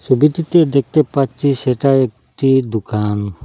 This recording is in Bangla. ছবিটিতে দেখতে পাচ্ছি সেটা একটি দোকান।